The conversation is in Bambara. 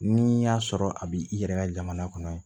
N'i y'a sɔrɔ a b'i yɛrɛ ka jamana kɔnɔ